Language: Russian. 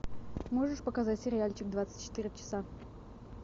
можешь показать сериальчик двадцать четыре часа